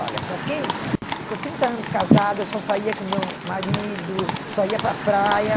Olha, para quem ficou trinta anos casado, eu só saía com o meu marido, só ia para a praia.